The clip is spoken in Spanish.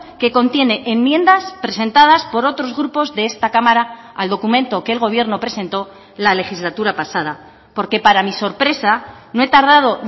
que contiene enmiendas presentadas por otros grupos de esta cámara al documento que el gobierno presentó la legislatura pasada porque para mi sorpresa no he tardado